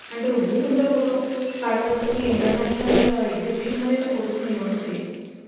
आणि एवढी सुंदर फोटो काढत असतो की international exhibition मध्ये या फोटो ची निवड होते